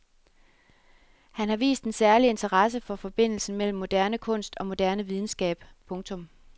Han har vist en særlig interesse for forbindelsen mellem moderne kunst og moderne videnskab. punktum